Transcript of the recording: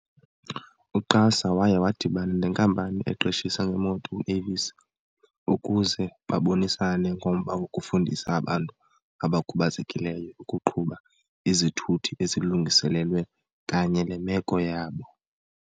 U-QASA waya wadibana nenkampani eqeshisa ngeemoto u-Avis ukuze babonisane ngomba wokufundisa abantu abakhubazekileyo ukuqhuba izithuthi ezilungiselelwe kanye le meko yabo.